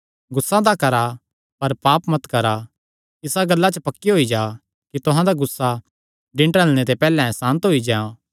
गुस्सा तां करा अपर पाप मत करा इसा गल्ला च पक्के होई जा कि तुहां दा गुस्सा दिन ढलणे ते पैहल्ले सांत होई जां